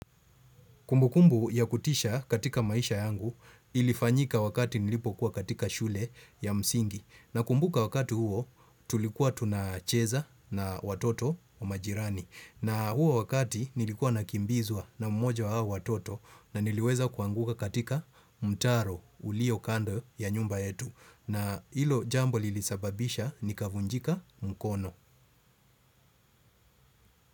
Kumbukumbu ya kutisha katika maisha yangu ilifanyika wakati nilipokuwa katika shule ya msingi nakumbuka wakati huo tulikuwa tunacheza na watoto wa majirani na huo wakati nilikuwa nakimbizwa na mmoja wa hao watoto na niliweza kuanguka katika mtaro ulio kando ya nyumba yetu na ilo jambo lilisababisha nikavunjika mkono.